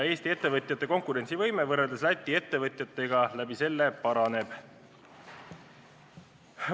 Eesti ettevõtjate võime konkureerida Läti ettevõtjatega tänu sellele paraneb.